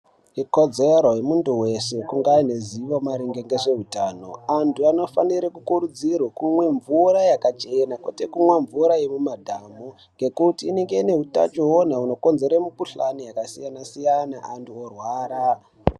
Ikodzero yemuntu weshe kuti ange aine ruzivo maringe ngezveutano. Antu anofanire kukurudzirwa kumwa mvura yakachena kwete kumwa mvura yemumadhamu ngekuti inenge ine utachiwona hunokonzerwa mikhuhlani yakasiyana siyana vantu vorwara.